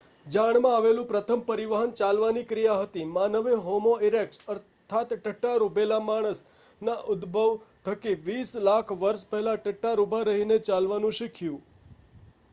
જાણમાં આવેલું પ્રથમ પરિવહન ચાલવાની ક્રિયા હતી માનવે હોમો ઇરેક્ટસ અર્થાત્ 'ટટ્ટાર ઊભેલો માણસ'ના ઉદ્ભવ થકી વીસ લાખ વર્ષ પહેલાં ટટ્ટાર ઊભા રહીને ચાલવાનું શીખ્યું